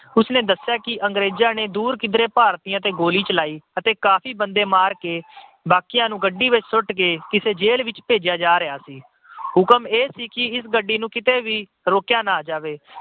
ਉਸਨੇ ਦੱਸਿਆ ਕਿ ਅੰਗਰੇਜਾਂ ਨੇ ਦੂਰ ਕਿਧਰੇ ਭਾਰਤੀਆਂ ਤੇ ਗੋਲੀ ਚਲਾਈ ਤੇ ਕਾਫੀ ਬੰਦੇ ਮਾਰ ਕੇ ਬਾਕੀਆਂ ਨੂੰ ਗੱਡੀ ਵਿੱਚ ਸੁੱਟ ਕੇ ਜੇਲ੍ਹ ਭੇਜਿਆ ਜਾ ਰਿਹਾ ਸੀ। ਹੁਕਮ ਇਹ ਸੀ ਕਿ ਗੱਡੀ ਨੂੰ ਕਿਤੇ ਵੀ ਰੋਕਿਆ ਨਾ ਜਾਵੇ।